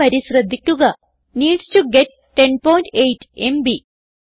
ഈ വരി ശ്രദ്ധിക്കുക നീഡ്സ് ടോ ഗെറ്റ് 108 എംബി